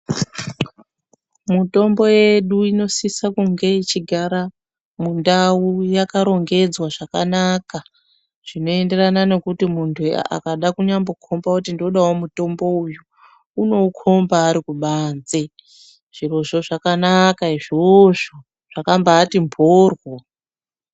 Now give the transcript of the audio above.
Mutombo yedu inosisa kunge ichigara mundau yakarongedzwa zvakanaka, zvinoenderana nokuti muntu akada kunyambokomba kuti ndodawo mutombo uyu unoukomba ari kubanze. Zvirozvo zvakanaka izvozvo, zvakambati mboryo.